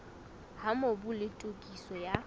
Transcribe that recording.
ha mobu le tokiso ya